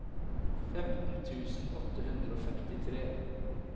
femten tusen åtte hundre og femtitre